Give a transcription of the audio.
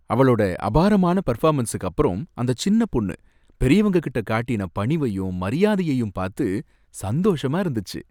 அவளோட அபாரமான பெர்ஃபாமன்ஸுக்கு அப்பறம் அந்த சின்ன பொண்ணு பெரியவங்ககிட்ட காட்டின பணிவையும் மரியாதையையும் பாத்து சந்தோஷமா இருந்துச்சி.